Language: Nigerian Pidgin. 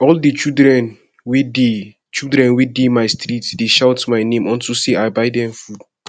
all the children wey dey children wey dey my street dey shout my name unto say i buy dem food